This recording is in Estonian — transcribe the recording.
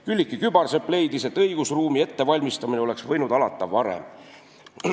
Külliki Kübarsepp leidis, et õigusruumi ettevalmistamine oleks võinud alata varem.